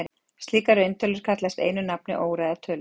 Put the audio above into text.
Slíkar rauntölur kallast einu nafni óræðar tölur.